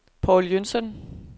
Paul Jønsson